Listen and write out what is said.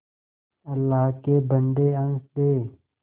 अल्लाह के बन्दे हंस दे